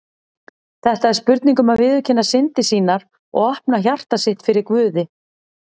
Þetta er spurning um að viðurkenna syndir sínar og opna hjarta sitt fyrir Guði.